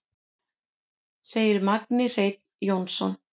Segir Magni Hreinn Jónsson.